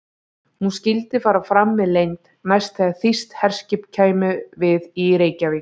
Hún skyldi fara fram með leynd, næst þegar þýskt herskip kæmi við í Reykjavík.